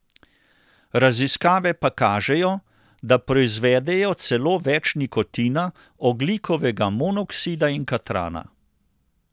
Raziskave pa kažejo, da proizvedejo celo več nikotina, ogljikovega monoksida in katrana.